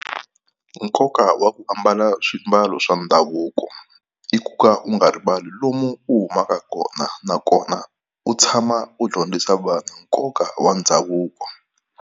Nkoka wa ku ambala swiambalo swa ndhavuko i ku ka u nga rivali lomu u humaka kona, nakona u tshama u dyondzisa vanhu nkoka wa ndhavuko.